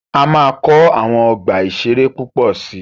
A máa kọ́ àwọn ọgbà ìṣẹ̀rẹ́ púpọ̀ si.